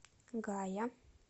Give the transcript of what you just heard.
гая